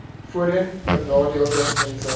voorheen benadeelde mense